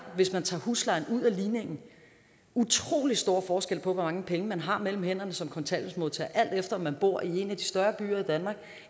hvis man tager huslejen ud af ligningen utrolig stor forskel på hvor mange penge man har mellem hænderne som kontanthjælpsmodtager alt efter om man bor i en af de større byer i danmark